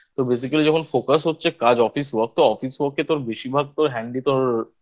তো Basically যখন Focus হচ্ছে কাজ Office Work তো Office হোক তোর বেশিরভাগ তোর Handy তোর